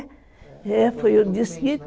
É, foi o desquite.